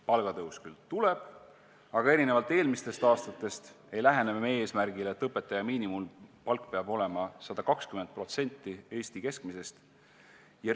Palgatõus küll tuleb, aga erinevalt eelmistest aastatest ei lähene me eesmärgile, et õpetaja miinimumpalk peab olema 120% Eesti keskmisest palgast.